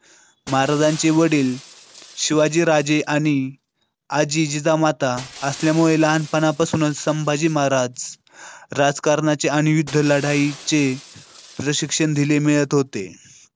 महाराजांचे वडील शिवाजीराजे आणि आजी जिजामाता असल्यामुळे लहानपणापासूनच संभाजी महाराज राजकारणाची आणि विठ्ठल लढाईचे प्रशिक्षण दिले मिळत होते.